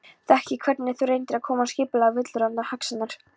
Þekki hvernig þú reynir að koma skipulagi á villuráfandi hugsanirnar.